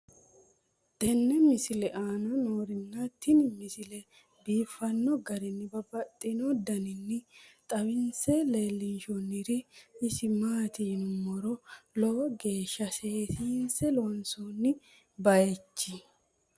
tenne misile aana noorina tini misile biiffanno garinni babaxxinno daniinni xawisse leelishanori isi maati yinummoro lowo geeshsha seesiinse loonsoonni bayichchi.